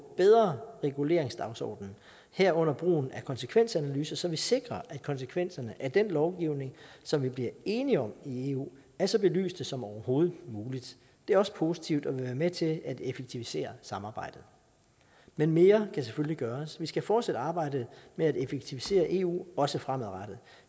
bedre reguleringsdagsorden herunder brugen af konsekvensanalyser så vi sikrer at konsekvenserne af den lovgivning som vi bliver enige om i eu er så belyste som overhovedet muligt det er også positivt og vil være med til at effektivisere samarbejdet men mere kan selvfølgelig gøres vi skal fortsat arbejde med at effektivisere eu også fremadrettet